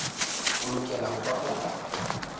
o lokela ho ba motho